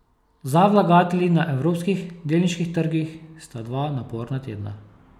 Za vlagatelji na evropskih delniških trgih sta dva naporna tedna.